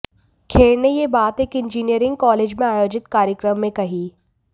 खेर ने ये बात एक इंजीनियरिंग कॉलेज में आयोजित कार्यक्रम में कही